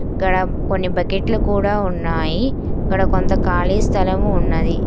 గాడ కొన్ని బకెట్లు కూడా ఉన్నాయి. గాడ కొంత ఖాళీ స్థలము ఉన్నది.